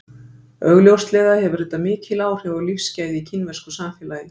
Augljóslega hefur þetta mikil áhrif á lífsgæði í kínversku samfélagi.